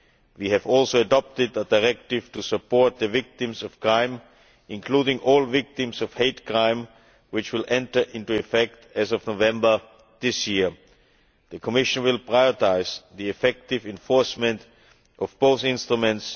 We have also adopted a Directive to support the victims of crime, including all victims of hate crime, which will enter into effect as of November this year. The Commission will prioritise the effective enforcement of both instruments.